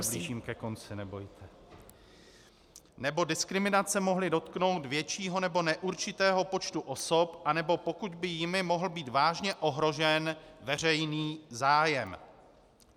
- už se blížím ke konci, nebojte - nebo diskriminace mohly dotknout většího nebo neurčitého počtu osob, anebo pokud by jimi mohl být vážně ohrožen veřejný zájem.